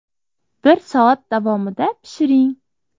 Bir soat davomida pishiring.